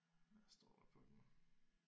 Hvad står der på den